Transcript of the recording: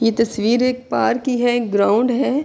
یہ تشویر ایک پارک کی ہے۔ گراؤنڈ ہے۔